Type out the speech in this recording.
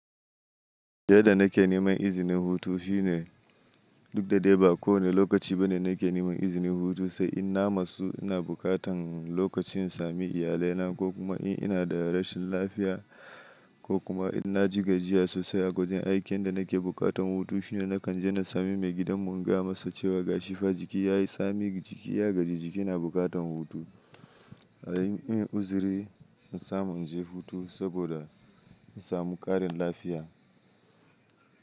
Yadda nake neman izinin hutu shine duk da dai ba kowane lokaci bane nake neman izinin hutu, sai in na matsu ina bukatan lokacin in sami iyalai na ko kuma in ina da rashin lafiya ko kuma in na ji gajiya sosai a wajan aikin yanda nake bukatan hutu shine nakan je na sami maigidan mu in ga masa cewa gashi fa jiki ya yi, sami jiki ya gaji jiki ina bukatan hutu. A yayin in uziri in samu in je hutu saboda in samu ƙarin lafiya.